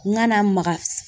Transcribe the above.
N kana maga